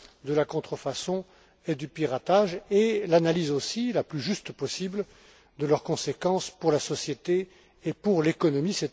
de la contrefaçon et du piratage et l'analyse aussi, la plus juste possible, de leurs conséquences pour la société et pour l'économie.